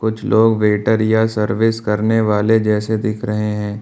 कुछ लोग वेटर या सर्विस करने वाले जैसे दिख रहे हैं।